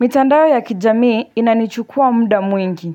Mitandao ya kijamii inanichukua muda mwingi.